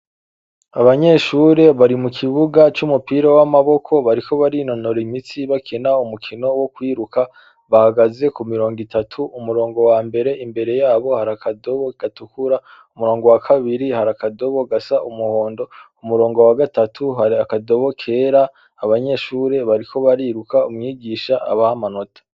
Abanyeshure bari mu kibuga c'umupira w'amaboko bariko barinonora imitsi bakena umukino wo kwiruka bahagaze ku mirongo itatu umurongo wa mbere imbere yabo hari akadobo gatukura umurongo wa kabiri hari akadobo gasa umuhondo umurongo wa gatatu hari akadobo kera abanyeshure bariko bariruka umwigisha abaho amanota.